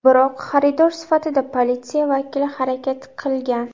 Biroq xaridor sifatida politsiya vakili harakat qilgan.